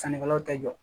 Sannikɛlaw tɛ jɔ